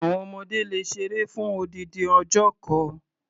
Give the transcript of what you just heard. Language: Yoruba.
Àwon ọmọdé le ṣeré fún odindin ọjọ́ kan.